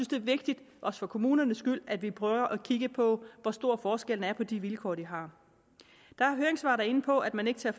det er vigtigt også for kommunernes skyld at vi prøver at kigge på hvor stor forskellen er på de vilkår de har der er høringssvar der er inde på at man ikke tager